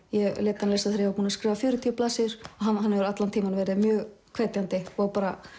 ég lét hann lesa þegar ég var búin að skrifa fjörutíu blaðsíður og hann hefur allan tímann verið mjög hvetjandi og bara